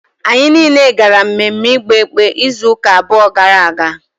Anyị niile gara mmemme igba ekpe izu ụka abụọ gara aga